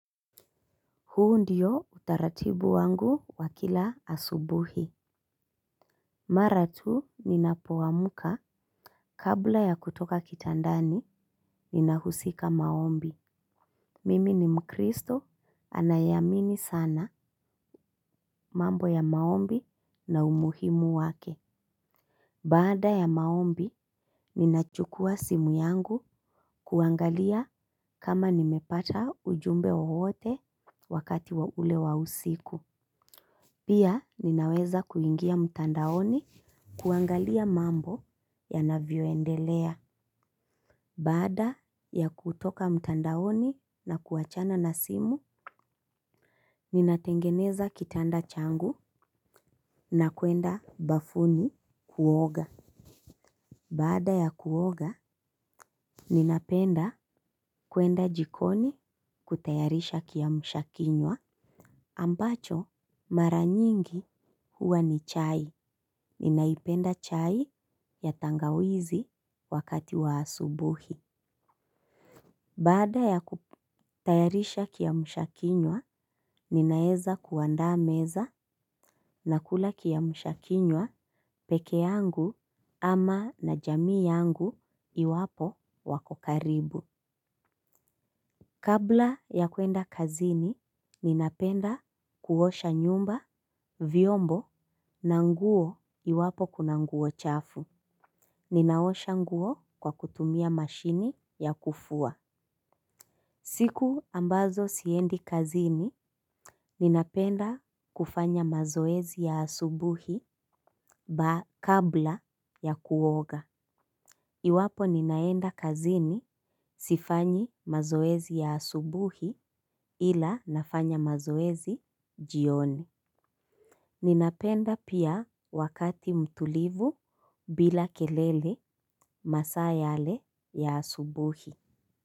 Huu ndio utaratibu wangu wa kila asubuhi. Mara tu ninapoamka kabla ya kutoka kitandani ninahusika maombi. Mimi ni mkristo anayeamini sana mambo ya maombi na umuhimu wake. Baada ya maombi ninachukua simu yangu kuangalia kama nimepata ujumbe wowote wakati wa ule wa usiku. Pia ninaweza kuingia mtandaoni kuangalia mambo ya navyoendelea. Baada ya kutoka mtandaoni na kuachana na simu, ninatengeneza kitanda changu na kuenda bafuni kuoga. Baada ya kuoga, ninapenda kuenda jikoni kutayarisha kiamshakinywa. Ambacho, mara nyingi huwa ni chai. Ninaipenda chai ya tangawizi wakati wa asubuhi. Baada ya kutayarisha kiamshakinywa, ninaeza kuandaa meza na kula kiamshakinywa pekee yangu ama na jamii yangu iwapo wako karibu. Kabla ya kwenda kazini, ninapenda kuosha nyumba, vyombo, na nguo iwapo kuna nguo chafu. Ninaosha nguo kwa kutumia mashini ya kufua. Siku ambazo siendi kazini, ninapenda kufanya mazoezi ya asubuhi kabla ya kuoga. Iwapo ninaenda kazini sifanyi mazoezi ya asubuhi ila nafanya mazoezi jioni. Ninapenda pia wakati mtulivu bila kelele masaa yale ya asubuhi.